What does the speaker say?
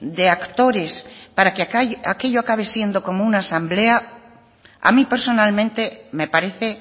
de actores para que aquello acabe siendo como una asamblea a mí personalmente me parece